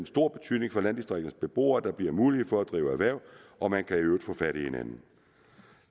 stor betydning for landdistrikternes beboere der bliver mulighed for at drive erhverv og man kan i øvrigt få fat i hinanden